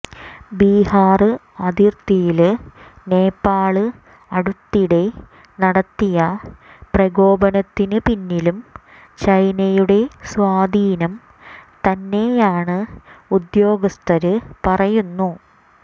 ബിഹാര് അതിര്ത്തിയില് നേപ്പാള് അടുത്തിടെ നടത്തിയ പ്രകോപനത്തിന് പിന്നിലും ചൈനയുടെ സ്വാധീനം തന്നെയാണെന്ന് ഉദ്യോഗസ്ഥര് പറയുന്നു